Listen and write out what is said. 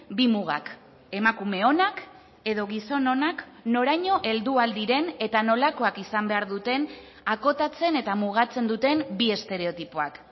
bi mugak emakume onak edo gizon onak noraino heldu ahal diren eta nolakoak izan behar duten akotatzen eta mugatzen duten bi estereotipoak